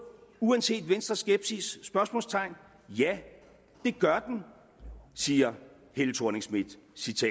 uanset venstres skepsis ja det gør den siger helle thorning schmidt